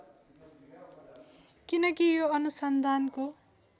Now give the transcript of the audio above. किनकि यो अनुसन्धानको